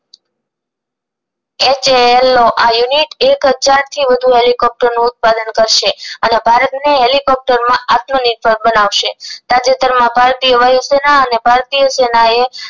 H A L ઑ આ unit એક હજાર થી વધુ હેલીકોપ્ટર ઉત્પાદક કરશે અને ભારત ને હેલીકોપ્ટર માં આત્મનિર્ભર બનાવશે તાજેતર માં ભારતીય વાયુ સેન અને ભારતીય સેનાએ